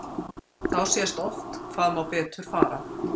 Þá sést oft hvað má betur fara.